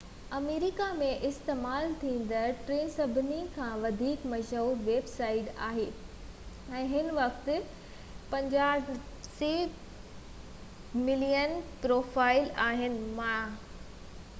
myspace آمريڪا ۾ استعمال ٿيندڙ ٽين سڀني کان وڌيڪ مشهور ويب سائيٽ آهي ۽ هن وقت 54 ملين پروفائيل آهن